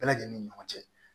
Bɛɛ lajɛlen ni ɲɔgɔn cɛ